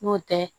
N'o tɛ